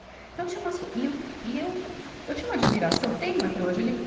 Então tinha umas co, e eu, e eu, eu tinha uma admiração, tenho até hoje. ele